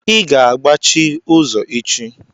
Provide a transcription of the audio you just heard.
I ga-agbachi ụzọ echi!